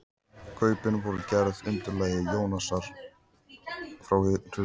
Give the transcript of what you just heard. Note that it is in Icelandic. Kaupin voru gerð að undirlagi Jónasar frá Hriflu.